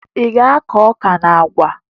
Ị ga-akụ ọka na àgwà?